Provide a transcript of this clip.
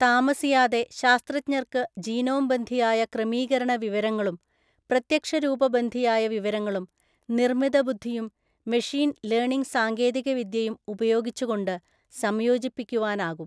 താമസിയാതെ ശാസ്ത്രജ്ഞർക്ക് ജീനോംബന്ധിയായ ക്രമീകരണവിവരങ്ങളും പ്രത്യക്ഷരൂപബന്ധിയായ വിവരങ്ങളും, നിർമ്മിതബുദ്ധിയും മെഷീൻ ലേണിങ് സാങ്കേതികവിദ്യയും ഉപയോഗിച്ചുകൊണ്ട് സംയോജിപ്പിക്കുവാനാകും.